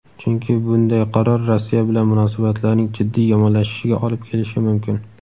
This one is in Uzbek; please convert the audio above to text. chunki bunday qaror Rossiya bilan munosabatlarning jiddiy yomonlashishiga olib kelishi mumkin.